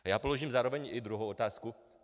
A já položím zároveň i druhou otázku.